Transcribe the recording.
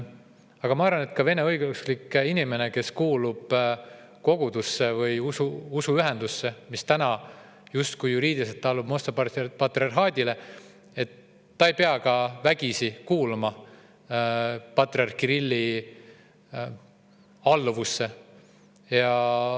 Aga ma arvan, et ka vene õigeusklik inimene, kes kuulub kogudusse või usuühendusse, mis täna justkui juriidiliselt allub Moskva patriarhaadile, ei pea vägisi kuuluma patriarh Kirilli alluvusse.